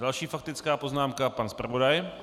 Další faktická poznámka - pan zpravodaj.